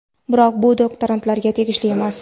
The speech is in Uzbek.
Biroq bu doktorantlarga tegishli emas.